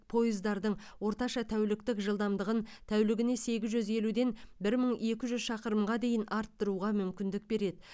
пойыздардың орташа тәуліктік жылдамдығын тәулігіне сегіз жүз елуден бір мың екі жүз шақырымға дейін арттыруға мүмкіндік береді